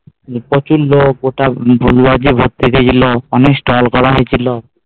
প্রচুর লোক গোটা এলো অনেক stall করা হয়েছিল